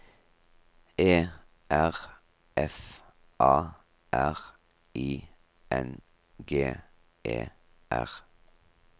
E R F A R I N G E R